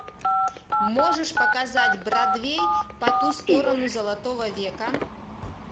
можешь показать бродвей по ту сторону золотого века